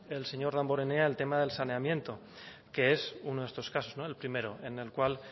el señor damborenea el tema del saneamiento que es uno de estos casos el primero en el cual